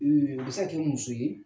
a bɛ se ka k'i muso ye